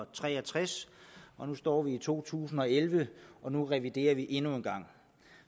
tre og tres nu står vi i to tusind og elleve og nu reviderer vi den endnu en gang